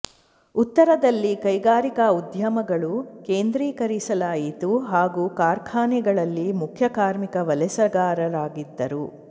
ಉತ್ತರದಲ್ಲಿ ಕೈಗಾರಿಕಾ ಉದ್ಯಮಗಳು ಕೇಂದ್ರೀಕರಿಸಲಾಯಿತು ಹಾಗೂ ಕಾರ್ಖಾನೆಗಳಲ್ಲಿ ಮುಖ್ಯ ಕಾರ್ಮಿಕ ವಲಸೆಗಾರರಾಗಿದ್ದರು